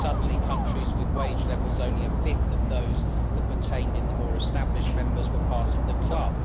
Suddenly countries with wage levels only a fifth of those that pertained in the more established members were part of the club.